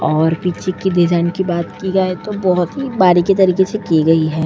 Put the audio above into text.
और पीछे की डिजाइन की बात की जाए तो बहुत ही बारीकी तरीके से की गई है।